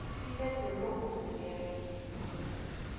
umthetho lo uvikela